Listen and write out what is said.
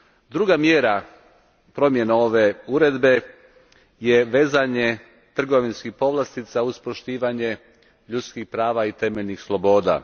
Druga mjera promjene ove Uredbe je vezanje trgovinskih povlastica uz poštivanje ljudskih prava i temeljnih sloboda.